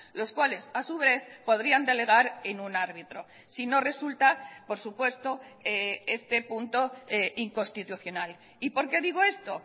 los cuales a su vez podrían delegar en un árbitro si no resulta por supuesto este punto inconstitucional y por qué digo esto